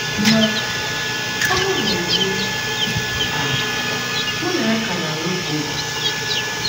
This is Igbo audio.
Ma, ọbụna ugbu a, mụ na ya ka na - alụ kwa ụbọchị.